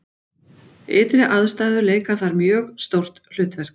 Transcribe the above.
Ytri aðstæður leika þar mjög stórt hlutverk.